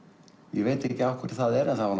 ég veit ekki af hverju það er en það var